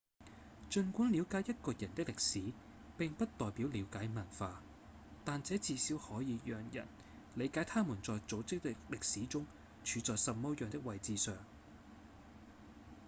儘管了解一個人的歷史並不代表了解文化但這至少可以讓人理解他們在組織的歷史中處在什麼樣的位置上